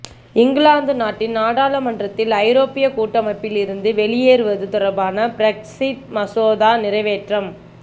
இங்கிலாந்து நாட்டின் நாடாளுமன்றத்தில் ஐரோப்பிய கூட்டமைப்பில் இருந்து வெளியேறுவது தொடர்பான பிரெக்ஸிட் மசோதா நிறைவேற்றம்